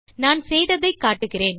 நான் செய்ததை காட்டுகிறேன்